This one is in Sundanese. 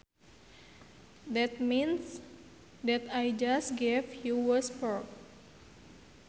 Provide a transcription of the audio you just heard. That mince that I just gave you was pork